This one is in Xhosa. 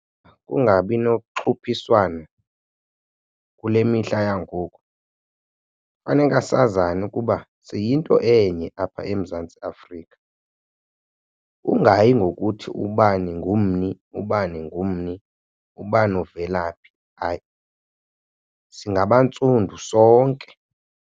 Kungabi noxhuphiswano kule mihla yangoku, faneka sazane ukuba siyinto enye apha eMzantsi Afrika. Ungayi ngokuthi ubani ngumni, ubani ngummi, ubani uvela phi, hayi singabantsundu sonke.